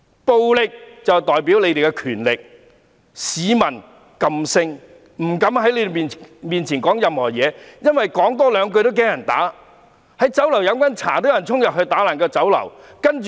暴力代表他們的權力，市民噤聲，不敢在他們面前說任何話，因為害怕多說兩句也會被人毆打。